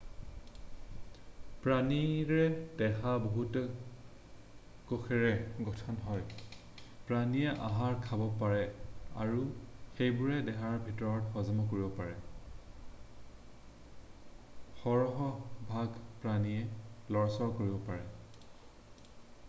প্ৰাণীৰ দেহ বহুতো কোষেৰে গঠন হয় প্ৰাণীয়ে আহাৰ খাব পাৰে আৰু সেইবোৰ দেহৰ ভিতৰতে হজম কৰিব পাৰে সৰহভাগ প্ৰাণীয়ে লৰচৰ কৰিব পাৰে